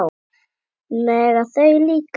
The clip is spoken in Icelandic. Mega þau líka?